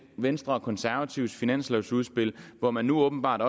venstre og konservatives finanslovudspil hvor man nu åbenbart